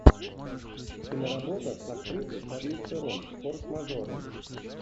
киноработа с актрисой шарлиз терон форс мажоры